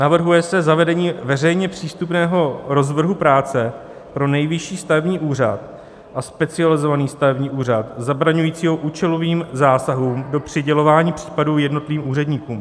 Navrhuje se zavedení veřejně přístupného rozvrhu práce pro Nejvyšší stavební úřad a Specializovaný stavební úřad zabraňujícího účelovým zásahům do přidělování případů jednotlivým úředníkům.